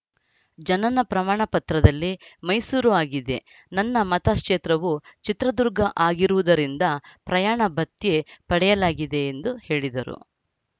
ಜನನ ಪ್ರಮಾಣ ಪತ್ರದಲ್ಲಿ ಮೈಸೂರು ಆಗಿದೆ ನನ್ನ ಮತಕ್ಷೇತ್ರವು ಚಿತ್ರದುರ್ಗ ಆಗಿರುವುದರಿಂದ ಪ್ರಯಾಣ ಭತ್ಯೆ ಪಡೆಯಲಾಗಿದೆ ಎಂದು ಹೇಳಿದರು